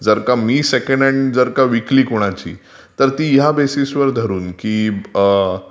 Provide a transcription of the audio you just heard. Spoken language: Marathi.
जर का मी सेकंड हॅंड जर विकली कोणाची तर ती ह्या बेसिसवर धरून की.....